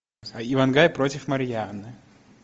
ивангай против марьяны